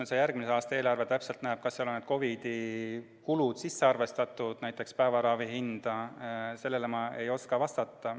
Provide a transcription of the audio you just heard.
Kuidas järgmise aasta eelarve seda täpselt ette näeb – kas seal on need COVID-i kulud sisse arvestatud, näiteks päevaravi hinna sisse –, sellele ma ei oska vastata.